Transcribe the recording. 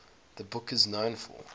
the book is known for